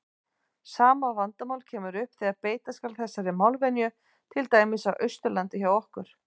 Sama vandamál kemur upp þegar beita skal þessari málvenju til dæmis á Austurlandi hjá okkur.